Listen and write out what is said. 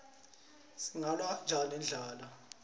singalwa kanjani nendlala